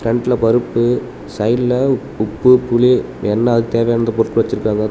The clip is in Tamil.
ஃப்ரண்ட்ல பருப்பு சைடுல உப்பு புளி எல்லா தேவையான அந்த பொருட்கள் வெச்சுருக்கறாங்க.